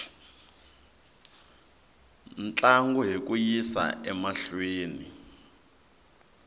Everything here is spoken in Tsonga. ntlangu hi ku yisa emahlweni